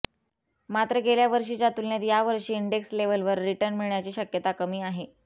मात्र गेल्या वर्षीच्या तुलनेत या वर्षी इंडेक्स लेव्हलवर रिटर्न मिळण्याची शक्यता कमी आहे